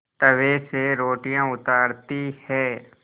तवे से रोटियाँ उतारती हैं